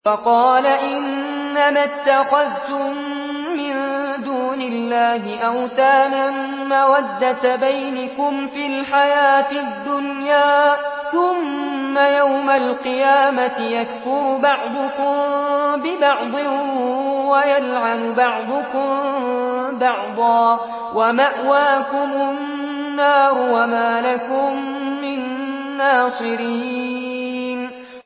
وَقَالَ إِنَّمَا اتَّخَذْتُم مِّن دُونِ اللَّهِ أَوْثَانًا مَّوَدَّةَ بَيْنِكُمْ فِي الْحَيَاةِ الدُّنْيَا ۖ ثُمَّ يَوْمَ الْقِيَامَةِ يَكْفُرُ بَعْضُكُم بِبَعْضٍ وَيَلْعَنُ بَعْضُكُم بَعْضًا وَمَأْوَاكُمُ النَّارُ وَمَا لَكُم مِّن نَّاصِرِينَ